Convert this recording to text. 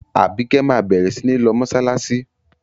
Àbíkẹ́ máa bẹ̀rẹ̀ sí ní lọ mọ́ṣáláṣí.